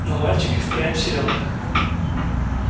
но мальчик и впрямь силен